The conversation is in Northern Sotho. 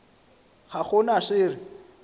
ga go na se re